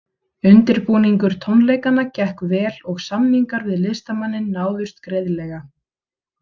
Undirbúningur tónleikanna gekk vel og samningar við listamanninn náðust greiðlega.